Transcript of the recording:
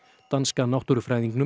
danska náttúrufræðingnum